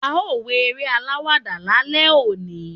a o wo eré alawada lálẹ oní